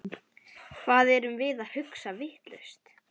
Hvað erum við að hugsa vitlaust?